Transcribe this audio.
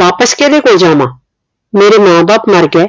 ਵਾਪਿਸ ਕਿਦੇ ਕੋਲ ਜਾਵਾਂ ਮੇਰੇ ਮਾਂ ਬਾਪ ਮਰ ਗਏ